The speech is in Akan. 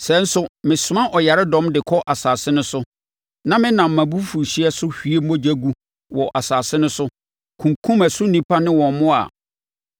“Sɛ nso mesoma ɔyaredɔm kɔ asase no so na menam mʼabufuhyeɛ so hwie mogya gu wɔ asase no so, kunkum ɛso nnipa ne wɔn mmoa a,